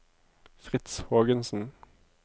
Fritz Hågensen